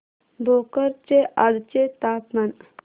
भोकर चे आजचे तापमान